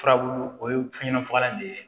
Furabulu o ye fɛn ɲɛnama fagalan de ye